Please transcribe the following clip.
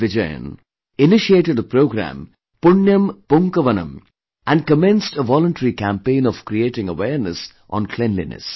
Vijayan initiated a programme Punyam Poonkavanam and commenced a voluntary campaign of creating awareness on cleanliness